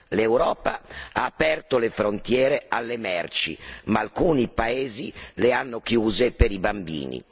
L'Europa ha aperto le frontiere alle merci, ma alcuni paesi le hanno chiuse per i bambini.